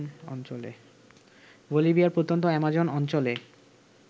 বলিভিয়ায় প্রত্যন্ত অ্যামাজন অঞ্চলে